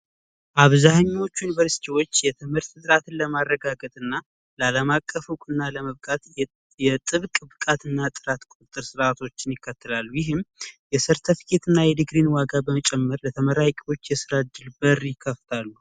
ብዙዎቹ ዩኒቨርስቲዎች የትምህርት ጥራትን ለማረጋገጥና ላለማቀፉ እና ለመብቃት የጥብቃትና ጥራት ቁጥጥር ስርዓቶችን ይከተላሉ ጭምር በተመራቂዎች የስራ እድል በር ይከፍታሉ